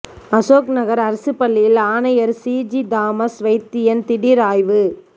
அசோக்நகா் அரசுப் பள்ளியில் ஆணையா் சிஜி தாமஸ் வைத்தியன் திடீா் ஆய்வு